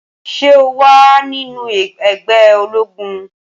Ṣé o wà nínú ẹgbẹ́ ológun?